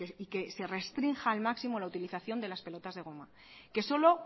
y que se restrinja al máximo la utilización de las pelotas de goma que solo